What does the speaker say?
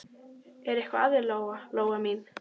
Er eitthvað að þér, Lóa Lóa mín?